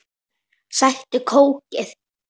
Sæktu kókið.